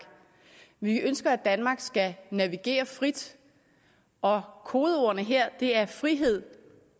vi ønsker at danmark skal navigere frit og kodeordene her er frihed